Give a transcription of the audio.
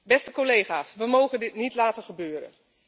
Beste collega's, we mogen dit niet laten gebeuren.